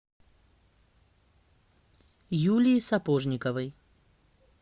юлии сапожниковой